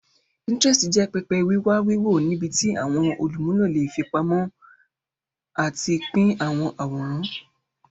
Pinterest jẹ pẹpẹ wiwa wiwo nibiti awọn olumulo le fipamọ ati pin awọn aworan.